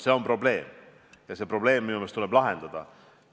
See on probleem ja see probleem minu meelest tuleb lahendada.